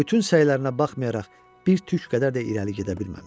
Və bütün səylərinə baxmayaraq bir tük qədər də irəli gedə bilməmişdi.